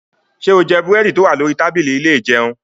Ṣé o jẹ búrẹ́dì tó wà lórí tábìlì ilé ìjẹun?